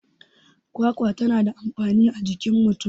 kwakwa tana da amfani a jikin mutum